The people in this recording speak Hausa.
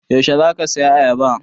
Yaushe za ka saya ayaba?